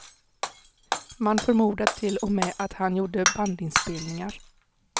Man förmodar till och med att han gjorde bandinspelningar.